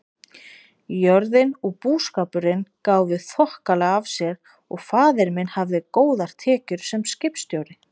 Jörðin og búskapurinn gáfu þokkalega af sér og faðir minn hafði góðar tekjur sem skipstjóri.